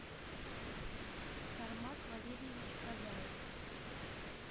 сармат валерьевич казаев